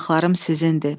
Bulaqlarım sizindir.